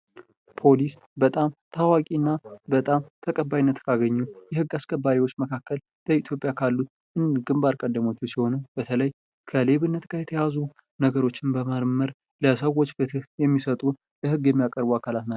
ፖሊስ በጣም ታዋቂ እና በጣም ተቀባይነት ካገኙ የሕግ አስከባሪዎች መካከል በኢትዮጵያ ካሉት ግንባር ቀደሙ ሲሆኑ፤ በተለይ ከሌብነት ጋር የተያያዙ ነገሮችን በመመርመር ለሰዎች ፍትህ የሚሰጡ ለሕግ የሚያቀርቡ አካላት ናቸው።